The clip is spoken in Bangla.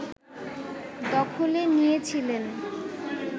দখলে নিয়েছিলেন